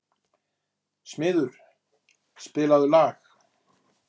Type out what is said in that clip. Smiður, spilaðu lag.